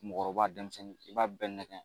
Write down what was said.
Mɔgɔkɔrɔba, denmisɛnnin i b'a bɛɛ nɛgɛ.